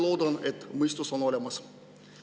" Loodan, et mõistus on siiski olemas.